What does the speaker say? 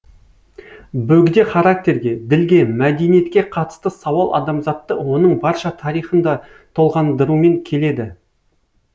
бөгде характерге ділге мәдениетке қатысты сауал адамзатты оның барша тарихында толғандырумен келеді